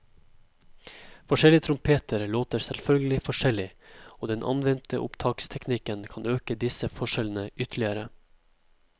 Forskjellige trompeter låter selvfølgelig forskjellig, og den anvendte opptaksteknikken kan øke disse forskjellene ytterligere.